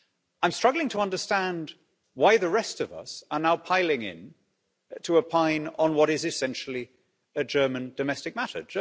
I'm struggling to understand why the rest of us are now piling in to opine on what is essentially a German domestic matter.